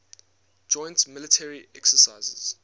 joint military exercises